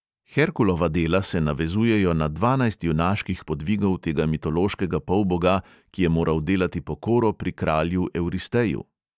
Herkulova dela se navezujejo na dvanajst junaških podvigov tega mitološkega polboga, ki je moral delati pokoro pri kralju evresteju.